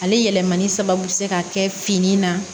Ale yɛlɛmani sababu bɛ se ka kɛ fini na